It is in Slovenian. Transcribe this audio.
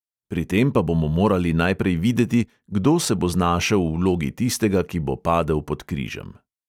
Pri tem pa bomo morali najprej videti, kdo se bo znašel v vlogi tistega, ki bo padel pod križem.